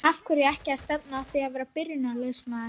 Af hverju ekki að stefna að því að vera byrjunarliðsmaður?